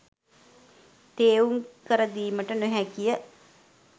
තේරුම් කර දීමට නොහැකි ය